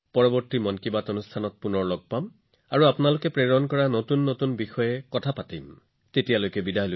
পৰৱৰ্তী মন কী বাতত আমি পুনৰ লগ পাম আৰু আপোনালোকে প্ৰেৰণ কৰা কিছুমান নতুন বিষয়ে আলোচনা কৰিম তেতিয়ালৈ বিদায়